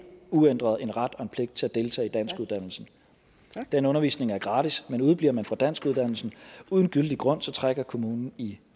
uændret en ret og en pligt til at deltage i danskuddannelse den undervisning er gratis men udebliver man fra danskuddannelsen uden gyldig grund trækker kommunen i